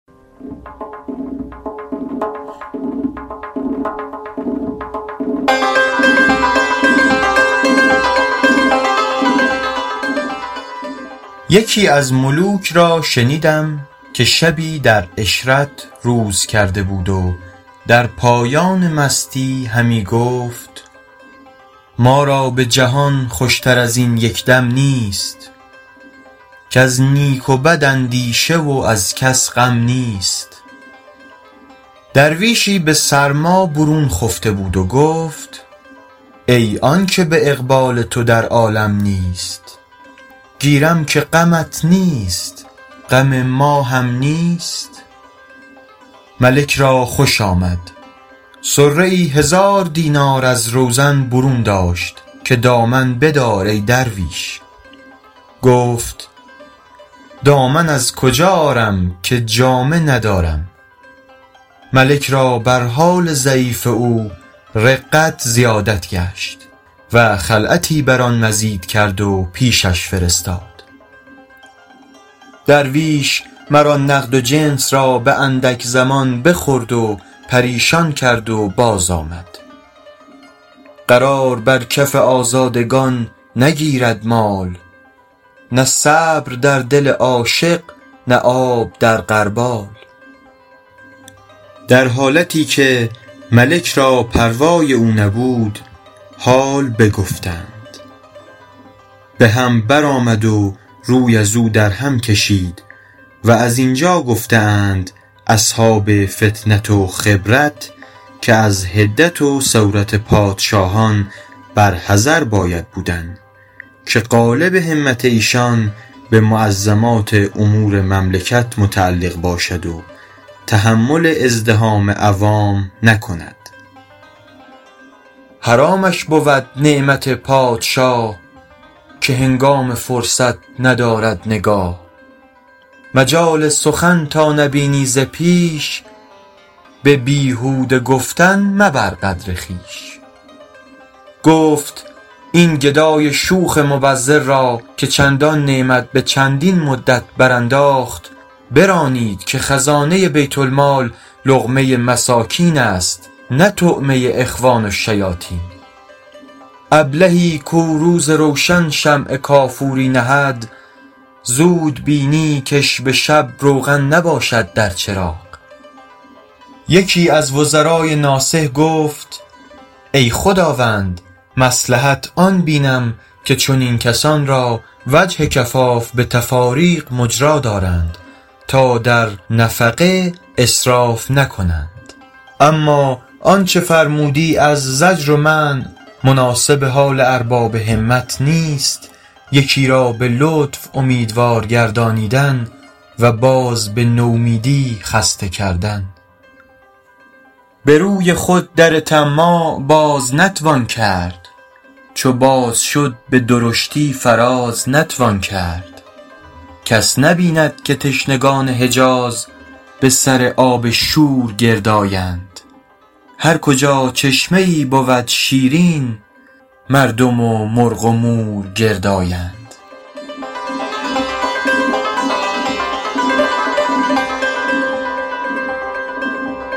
یکی از ملوک را شنیدم که شبی در عشرت روز کرده بود و در پایان مستی همی گفت ما را به جهان خوش تر از این یک دم نیست کز نیک و بد اندیشه و از کس غم نیست درویشی به سرما برون خفته بود و گفت ای آن که به اقبال تو در عالم نیست گیرم که غمت نیست غم ما هم نیست ملک را خوش آمد صره ای هزار دینار از روزن برون داشت که دامن بدار ای درویش گفت دامن از کجا آرم که جامه ندارم ملک را بر حال ضعیف او رقت زیادت شد و خلعتی بر آن مزید کرد و پیشش فرستاد درویش مر آن نقد و جنس را به اندک زمان بخورد و پریشان کرد و باز آمد قرار بر کف آزادگان نگیرد مال نه صبر در دل عاشق نه آب در غربال در حالتی که ملک را پروای او نبود حال بگفتند به هم بر آمد و روی ازو در هم کشید و زین جا گفته اند اصحاب فطنت و خبرت که از حدت و سورت پادشاهان بر حذر باید بودن که غالب همت ایشان به معظمات امور مملکت متعلق باشد و تحمل ازدحام عوام نکند حرامش بود نعمت پادشاه که هنگام فرصت ندارد نگاه مجال سخن تا نبینی ز پیش به بیهوده گفتن مبر قدر خویش گفت این گدای شوخ مبذر را که چندان نعمت به چندین مدت برانداخت برانید که خزانه بیت المال لقمه مساکین است نه طعمه اخوان الشیاطین ابلهی کو روز روشن شمع کافوری نهد زود بینی کش به شب روغن نباشد در چراغ یکی از وزرای ناصح گفت ای خداوند مصلحت آن بینم که چنین کسان را وجه کفاف به تفاریق مجرا دارند تا در نفقه اسراف نکنند اما آنچه فرمودی از زجر و منع مناسب حال ارباب همت نیست یکی را به لطف اومیدوار گردانیدن و باز به نومیدی خسته کردن به روی خود در طماع باز نتوان کرد چو باز شد به درشتی فراز نتوان کرد کس نبیند که تشنگان حجاز به سر آب شور گرد آیند هر کجا چشمه ای بود شیرین مردم و مرغ و مور گرد آیند